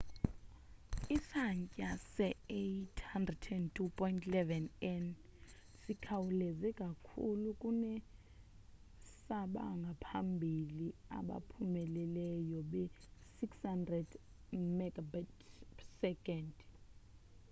isantya se-802.11n sikhawuleze kakhulu kunesabangaphambili abaphumeleleyo be-600mbit / s